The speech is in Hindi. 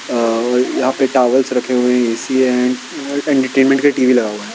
अं यहाँ पे टॉवल्स रखे हुए हैं एसी अँड और एंटरटेंमेंट का टीवी लगा हुआ है।